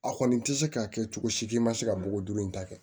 A kɔni tɛ se k'a kɛ cogo si man se ka bɔgɔ duuru in ta kɛ